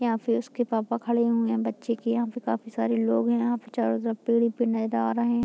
यहां फिर उसके पापा खड़े हुए हैं बच्चे की यहाँ काफी सारे लोग है यहाँ पे चारों तरफ पेड़ ही पेड़ आ रहे है।